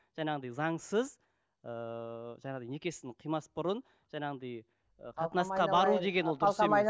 жаңағындай заңсыз ыыы жаңағындай некесін қимас бұрын жаңағындай қатынасқа бару деген ол дұрыс емес